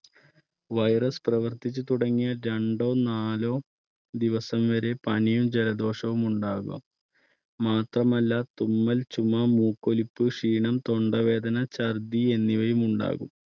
virus പ്രവർത്തിച്ചു തുടങ്ങിയാൽ രണ്ടോ നാലോ ദിവസം വരെ പനിയും ജലദോഷവും ഉണ്ടാകാം മാത്രമല്ല തുമ്മൽ, ചുമ, മൂക്കൊലിപ്പ്, ക്ഷീണം, തൊണ്ടവേദന, ചർദ്ദി എന്നിവയും ഉണ്ടാകും.